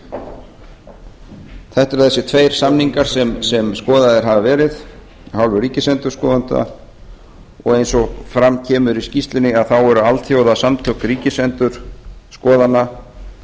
þetta eru þessir tveir samningar sem skoðaðir hafa verið af hálfu ríkisendurskoðanda og eins og fram kemur í skýrslunni þá eru alþjóðasamtök ríkisendurskoðana